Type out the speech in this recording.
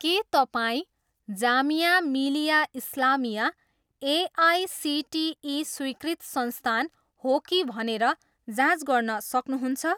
के तपाईँँ जामिया मिलिया इस्लामिया एआइसिटिई स्वीकृत संस्थान हो कि भनेर जाँच गर्न सक्नुहुन्छ?